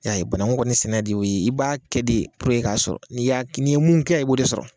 Ya ye banaku sɛnɛ de y'o ye i b'a kɛ de k'a sɔrɔ n'i y'a n'i ye mun kɛ i b'o de sɔrɔ.